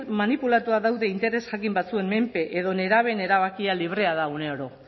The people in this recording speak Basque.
manipulatuta daude interes jakin batzuen menpe edo nerabeen erabakia librea da uneoro